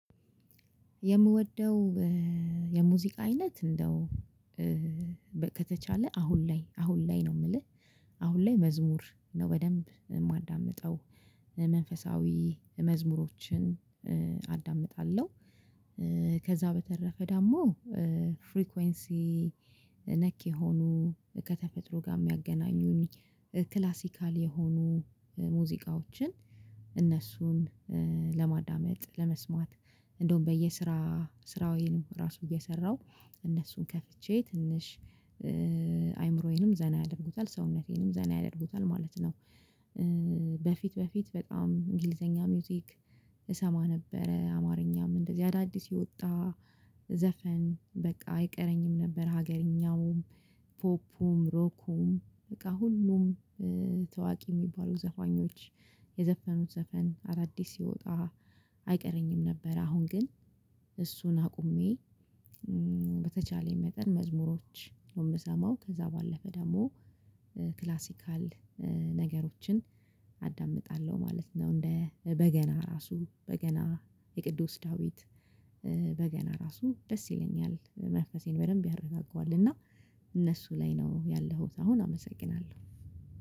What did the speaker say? የምወደው የሙዚቃ አይነት እንደው ከተቻለ አሁን ላይ አሁን ላይ ነው የምልህ አሁን ላይ መዝሙር ነው በደንብ የማዳምጠው መንፈሳዊ መዝሙሮችን አዳምጣለሁ። ከዛ በተረፈ ደግሞ ፍሪኮንሲ ነክ የሆኑ ከተፈጥሮ ጋር የሚያገናኙኝ ክላሲካል የሆኑ ሙዚቃዎችን እነሱን ለማዳመጥ ለመስማት እንደውም በየስራ ስራዬንም ራሱ እየሰራሁ እነሱን ከፍቼ ትንሽ አይምሮዬንም ዘና ያደርጉታል ሰውነቴንም ዘና ያደርጉታል ማለት ነው። በፊት በፊት በጣም እንግሊዘኛ ሙዚክ እሰማ ነበረ አማርኛም እንደዚህ አዳዲስ የወጣ ዘፈን በቃ አይቀረኝም ነበር። ሀገርኛውም ፖፑም ሮኩም በቃ ሁሉም ታዋቂ የሚባሉ ዘፋኞች የዘፈኑት ዘፈን አዳዲስ ሲወጣ አይቀረኝም ነበር። አሁን ግን እሱን አቁሜ በተቻለኝ መጠን መዝሙሮች ነው የምሰማው ከዛ ባለፈ ደግሞ ክላሲካል ነገሮችን አዳምጣለሁ ማለት ነው። እንደ በገና ራሱ በገና የቅዱስ ዳዊት በገና ራሱ ደስ ይለኛል መንፈሴን በደንብ ያረዛጋዋል። እና እነሱ ላይ ነው ያለኸው አሁን አመሰግናለሁ